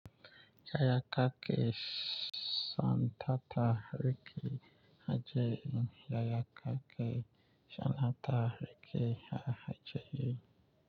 Yaya kake son tata rike aji? Yaya kake sananta rike a aji?